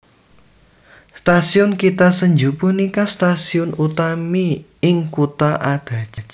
Stasiun Kita Senju punika stasiun utami ing kutha Adachi